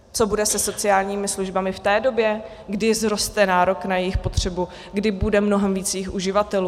Co bude se sociálními službami v té době, kdy vzroste nárok na jejich potřebu, kdy bude mnohem víc jejich uživatelů?